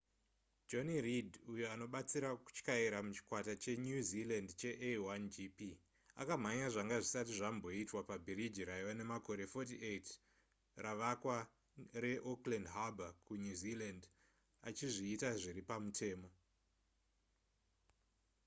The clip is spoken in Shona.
jonny reid uyo anobatsira kutyaira muchikwata chenew zealand chea1gp akamhanya zvanga zvisati zvamboitwa nepabhiriji rava nemakore 48 ravakwa reauckland harbour rekunew zealand achizviita zviri pamutemo